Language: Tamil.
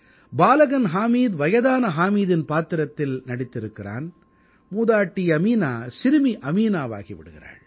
பாலகன் ஹாமித் வயதான ஹாமிதின் பாத்திரத்தை நடித்திருக்கிறான் மூதாட்டி அமீனா சிறுமி அமீனாவாகி விடுகிறாள்